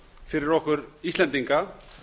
fyrir okkur íslendinga